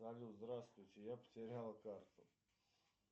салют здравствуйте я потерял карту